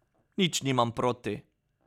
Nič nimam proti.